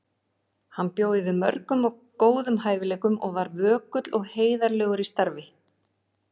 Hann bjó yfir mörgum góðum hæfileikum og var vökull og heiðarlegur í starfi.